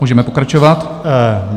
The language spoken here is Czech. Můžeme pokračovat.